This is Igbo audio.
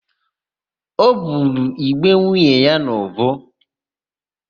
O buru ìgbé nwunye ya n'ùbú.